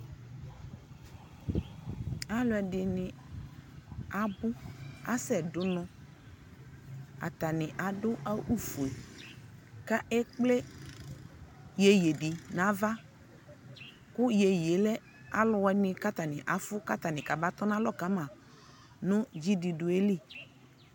alʋɛdini abʋ, asɛ dʋnɔ atani adʋ awʋ ƒʋɛ kʋ ɛkplɛ yɛyɛ di nʋ aɣa kʋ yɛyɛ lɛ alʋ wini kʋ akaƒʋ kaba tɔnʋ alɔ kama nʋ dzi dʋdʋɛli